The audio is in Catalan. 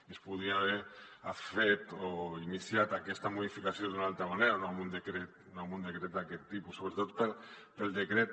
i es podia haver fet o iniciat aquesta modificació d’una altra manera no amb un decret d’aquest tipus sobretot pel decret